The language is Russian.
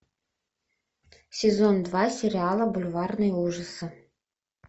сезон два сериала бульварные ужасы